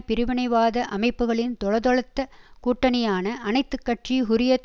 பிரிவினைவாத அமைப்புக்களின் தொளதொளத்த கூட்டணியான அனைத்து கட்சி ஹூரியத்